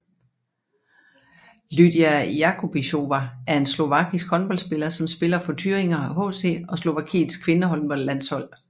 Lýdia Jakubisová er en slovakisk håndboldspiller som spiller for Thüringer HC og Slovakiets kvindehåndboldlandshold